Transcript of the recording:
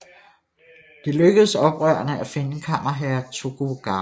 Det lykkedes oprørerne at finde kammerherre Tokugawa